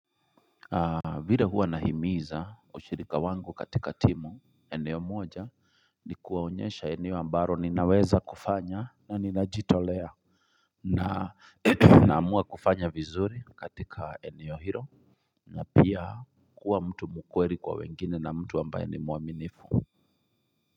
Vile huwa nahimiza washirika wangu katika timu eneo moja ni kuwaonyesha eneo ambalo ninaweza kufanya na ninajitolea na naamua kufanya vizuri katika eneo hilo na pia kuwa mtu mkweli kwa wengine na mtu ambaye ni muaminifu.